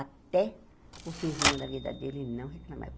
Até o fimzinho da vida dele, ele não reclamava.